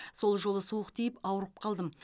сол жолы суық тиіп ауырып қалдым